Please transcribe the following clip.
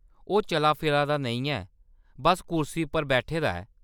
ओह्‌‌ चला-फिरा दा नेईं ऐ, बस्स कुर्सी पर बैठे दा ऐ।